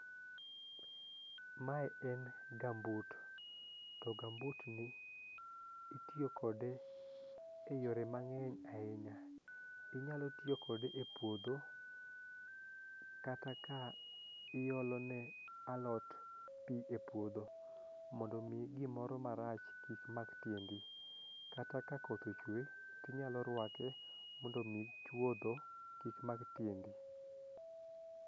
Mae en gamboot to gamboot ni itiyo kode eyore mang'eny ahinya inyalo tiyo kode epuodho kata ka iole ne alot pi e puodho mondo mi gimoro marach kik mak tiendi kata ka koth ochue inyalo ruake mondo mi chuotho kik mak tiendi.